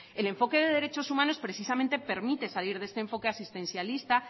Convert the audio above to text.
el enfoque de derechos humanos precisamente permite precisamente salir de este enfoque asistencialista